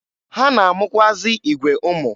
Ha na-amụkwụazị igwe ụmụ.